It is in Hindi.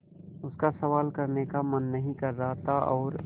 उसका सवाल करने का मन नहीं कर रहा था और